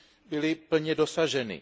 byly plně dosaženy.